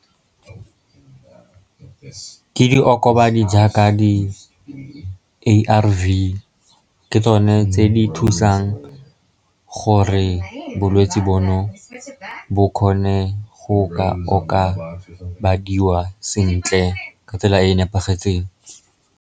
Ke diokobadi jaaka di-A_R_V, ke tsone tse di thusang gore bolwetsi bono bo kgone go ka o ka badiwa sentle, ka tsela e e nepagetseng.